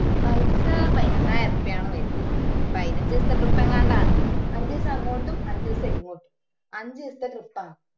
പൈസ പയിനൊന്നായിരം ഉറുപ്പിയ ആണ് വരുന്നേ പയിനഞ്ചെസത്തെ trip അങാണ്ടാണ് അഞ്ചെസം അങ്ങോട്ടും അഞ്ചെസം ഇങ്ങോട്ടും അഞ്ചെസത്തെ trip ആണ്